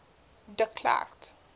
de klerk